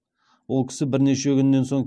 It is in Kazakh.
ол кісі бірнеше күннен соң